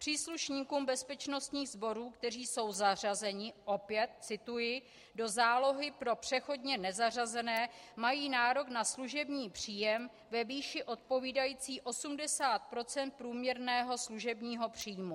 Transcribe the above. Příslušníci bezpečnostních sborů, kteří jsou zařazeni - opět cituji - do zálohy pro přechodně nezařazené, mají nárok na služební příjem ve výši odpovídající 80 % průměrného služebního příjmu.